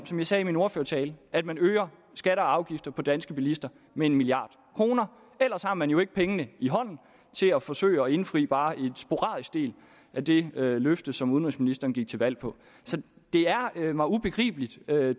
som jeg sagde i min ordførertale tale at man øger skatter og afgifter på danske bilister med en milliard kroner ellers har man jo ikke pengene i hånden til at forsøge at indfri bare en sporadisk del af det løfte som udenrigsministeren gik til valg på så det er mig ubegribeligt med